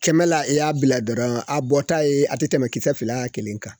Kɛmɛ la e y'i bila dɔrɔn a bɔta ye a ti tɛmɛ kisɛ fila, kelen kan.